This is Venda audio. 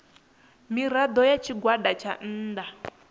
mirado ya tshigwada tsha nnda